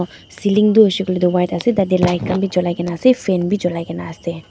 ceiling toh hoishe koile toh white ase tatey light khan bhi julaikena ase fan bhi julaikena ase.